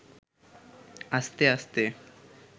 আস্তে আস্তে